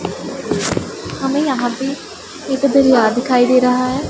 हमें यहां पे एक दरिया दिखाई दे रहा है।